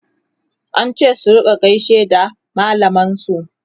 an ce su rinka gaishe da mallaman su